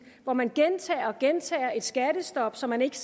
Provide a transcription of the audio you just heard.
hvor man gentager og gentager et skattestop som man ikke